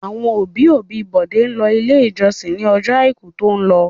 Àwọn òbí-òbí Bọ̀dé lọ Ilé-ìjọsìn ní ọjọ́ àìkú tó lọ.